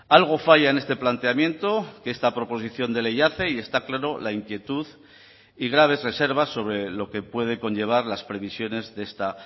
algo falla en este planteamiento que esta proposición de ley hace y está claro la inquietud y graves reservas sobre lo que puede conllevar las previsiones de esta